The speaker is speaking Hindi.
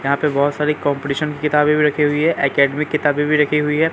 यहां पे बहोत सारी कॉम्पिटिशन किताबें भी रखी हैं एकेडमी किताबें भी रखी हुई हैं।